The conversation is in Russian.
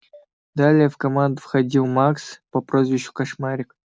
далее в команду входил макс по прозвищу кошмарик